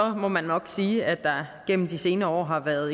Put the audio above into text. må man nok sige at der igennem de senere år har været